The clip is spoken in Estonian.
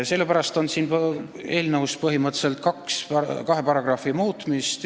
Sellepärast on siin eelnõus pakutud põhimõtteliselt kahe paragrahvi muutmist.